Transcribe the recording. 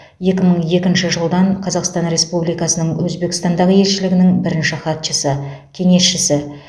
екі мың екінші жылдан қазақстан республикасының өзбекстандағы елшілігінің бірінші хатшысы кеңесшісі